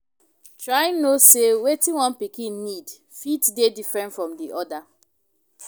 Try know sey wetin one pikin need fit dey different from di oda